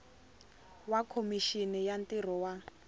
wa khomixini ya ntirho wa